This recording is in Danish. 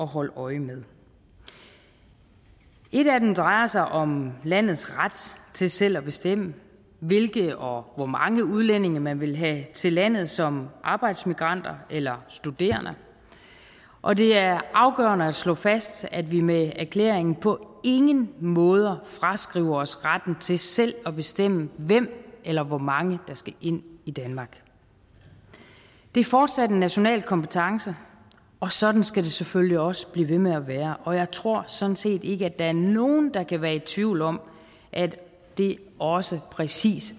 holde øje med et af dem drejer sig om landets ret til selv at bestemme hvilke og hvor mange udlændinge man vil have til landet som arbejdsmigranter eller studerende og det er afgørende at slå fast at vi med erklæringen på ingen måde fraskriver os retten til selv at bestemme hvem eller hvor mange der skal ind i danmark det er fortsat en national kompetence og sådan skal det selvfølgelig også blive ved med at være og jeg tror sådan set ikke at der er nogen der kan være i tvivl om at det også præcis